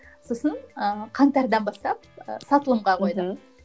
сосын ыыы қаңтардан бастап ы сатылымға қойдым мхм